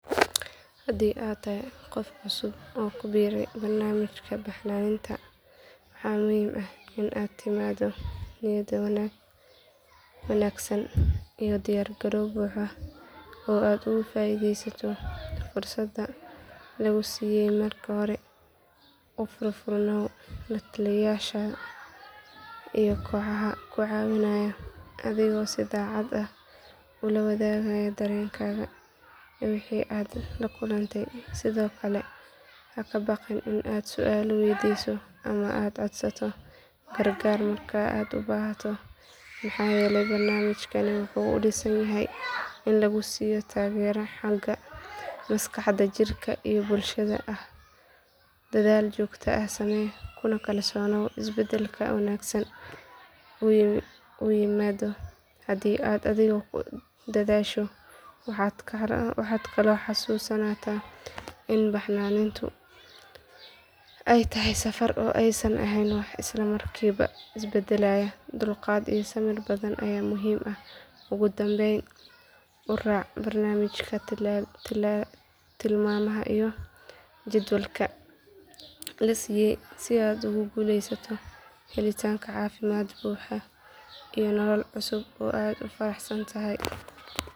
Haddii aad tahay qof cusub oo ku biiraya barnaamijka baxnaaninta waxaa muhiim ah in aad la timaado niyad wanaagsan iyo diyaar garow buuxa oo aad uga faa’iidaysato fursadda laguu siiyay marka hore u furfurnaaw la taliyayaasha iyo kooxaha ku caawinaya adigoo si daacad ah u la wadaagaya dareenkaaga iyo wixii aad la kulantay sidoo kale ha ka baqin in aad su’aalo weydiiso ama aad codsato gargaar marka aad u baahato maxaa yeelay barnaamijkani wuxuu u dhisan yahay in lagu siiyo taageero xagga maskaxda jirka iyo bulshada ah dadaal joogto ah samee kuna kalsoonow in isbeddelka wanaagsan uu yimaado hadii aad adigu ku dadaasho waxaad kaloo xasuusnaataa in baxnaanintu ay tahay safar oo aysan ahayn wax isla markiiba is beddelaya dulqaad iyo samir badan ayaa muhiim ah ugu dambayn u raac barnaamijka tilmaamaha iyo jadwalka la siiyay si aad ugu guulaysato helitaanka caafimaad buuxa iyo nolol cusub oo aad ku faraxsan tahay